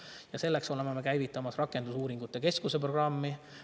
Ja selleks oleme käivitamas rakendusuuringute keskuse programmi.